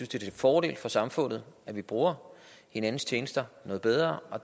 til fordel for samfundet at vi bruger hinandens tjenester noget bedre og